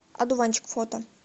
одуванчик фото